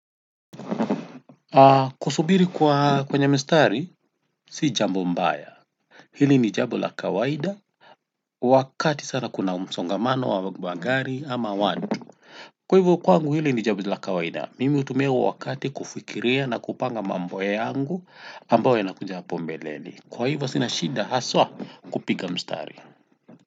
Kusubiri kwa kwenye mstari si jambo mbaya hili ni jambo la kawaida wakati sana kuna msongamano wa gari ama watu. Kwa hivyo kwangu hili ni jambo la kawaida mimi hutumia huo wakati kufikiria na kupanga mambo yangu ambayo yanakuja hapo mbeleni kwa hivyo sina shida haswa kupiga mstari.